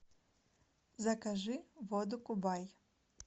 закажи воду кубай